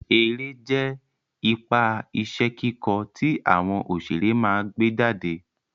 Eré jẹ́ ipa iṣẹ́ kíkọ́ tí àwọn òṣeré máa gbé jáde